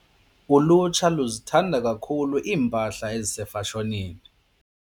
Ulutsha luzithanda kakhulu iimpahla ezisefashonini.